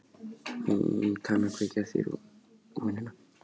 Hún kann að kveikja þér vonina.